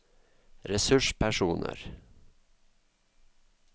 ressurspersoner